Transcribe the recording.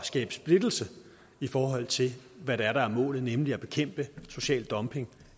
skabe splittelse i forhold til hvad der der er målet nemlig at bekæmpe social dumping